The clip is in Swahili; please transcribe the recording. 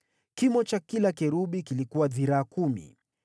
Kimo cha kila kerubi kilikuwa dhiraa kumi.